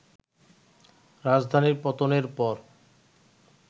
রাজধানীর পতনের পর